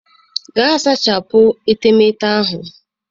Gaa sachapụ etemeete ahụ!